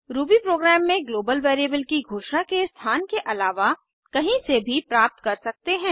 Ruby program में global variable की घोषणा के स्थान के अलावा कहीं से भी प्राप्त कर सकते हैं